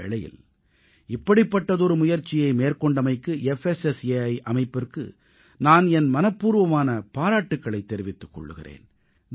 இந்த வேளையில் இப்படிப்பட்டதொரு முயற்சியை மேற்கொண்டமைக்கு புஸ்ஸை அமைப்பிற்கு நான் என் மனப்பூர்வமான பாராட்டுக்களைத் தெரிவித்துக் கொள்கிறேன்